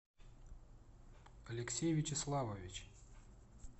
алексей вячеславович